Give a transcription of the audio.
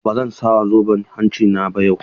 A'a ba zan sa zoben hanci na ba yau.